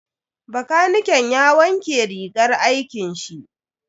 Bakaniken ya wanke rigar aikin shi.